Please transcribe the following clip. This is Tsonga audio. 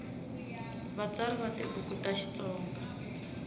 vatsari va tibuku ta xitsonga